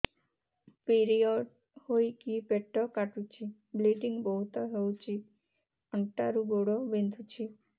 period ହୋଇକି ପେଟ କାଟୁଛି ବ୍ଲିଡ଼ିଙ୍ଗ ବହୁତ ହଉଚି ଅଣ୍ଟା ରୁ ଗୋଡ ବିନ୍ଧୁଛି